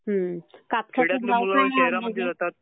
हं. कापसाचे भाव काय आहेत आता?